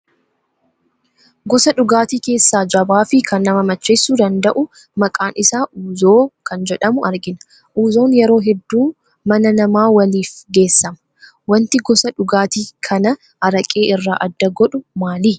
Gosa dhugaatii keessaa jabaa fi kan nama macheessuu danda'u, maqaan isaa Uuzoo kan jedhamu argina. Uuzoon yeroo hedduu mana namaa waliif geessama. Waanti gosa dhugaatii kana araqee irraa adda godhu maali?